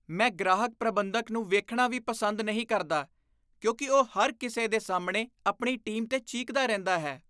ਮੈਂ ਗ੍ਰਾਹਕ ਪ੍ਰਬੰਧਕ ਨੂੰ ਵੇਖਣਾ ਵੀ ਪਸੰਦ ਨਹੀਂ ਕਰਦਾ ਕਿਉਂਕਿ ਉਹ ਹਰ ਕਿਸੇ ਦੇ ਸਾਹਮਣੇ ਆਪਣੀ ਟੀਮ 'ਤੇ ਚੀਕਦਾ ਰਹਿੰਦਾ ਹੈ।